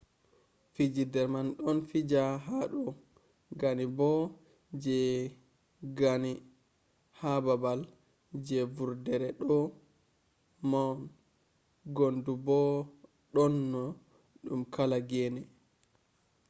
fijirde man do fija hado gane bo je gane ha babal je vurdere do mown guntu bo do dona dum kala gene